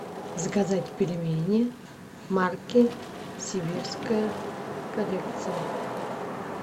заказать пельмени марки сибирская коллекция